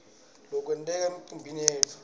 lokwenteka emtimbeni yetfu